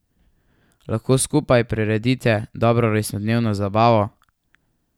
Lahko skupaj priredite dobro rojstnodnevno zabavo.